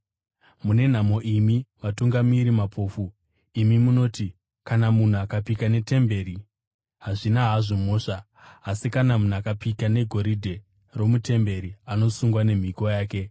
“Mune nhamo imi vatungamiri mapofu! Imi munoti, ‘Kana munhu akapika netemberi, hazvina hazvo mhosva, asi kana munhu akapika negoridhe romutemberi anosungwa nemhiko yake.’